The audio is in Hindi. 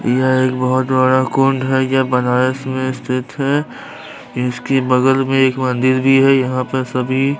यह एक बहुत बड़ा कुंड है यह बनारस में स्थित है इसकी बगल में एक मंदिर भी है यहाँ पर सभी --